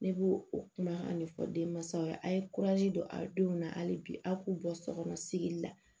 Ne b'o o kuma a ɲɛfɔ den mansaw ye a' ye don a denw na hali bi a k'u bɔ so kɔnɔ sigili la